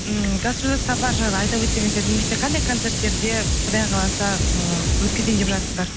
ммм гастрольдік сапар жайлы айта өтсеңіздер немесе қандай концерттерде құдай қаласа ыыы өткізейін деп жатсыздар